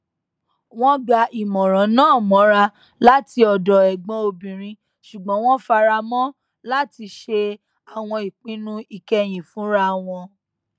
wọn gba ìmọràn náà mọra láti ọdọ ẹgbọn obìnrin ṣugbọn wọn fara mọ láti ṣe àwọn ìpinnu ìkẹyìn fúnra wọn